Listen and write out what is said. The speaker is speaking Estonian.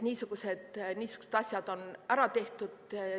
Niisugused asjad on ära tehtud.